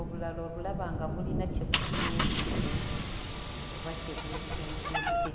obulala obulaba nga bulina kye butunuulidde oba kye bwekengedde.